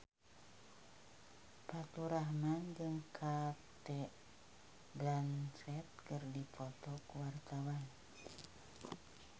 Faturrahman jeung Cate Blanchett keur dipoto ku wartawan